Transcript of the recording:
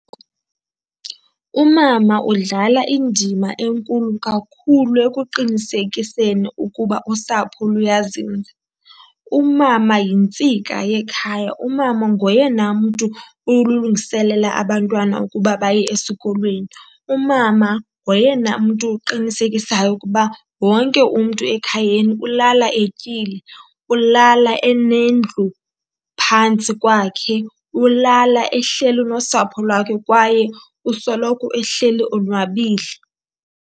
Umama udlala indima enkulu kakhulu ekuqinisekiseni ukuba usapho luyazinza. Umama yintsika yekhaya, umama ngoyena mntu ulungiselela abantwana ukuba baye esikolweni. Umama ngoyena mntu uqinisekisayo ukuba wonke umntu ekhayeni ulala etyile, ulala enendlu phantsi kwakhe, ulala ehleli nosapho lwakhe kwaye usoloko ehleli onwabile.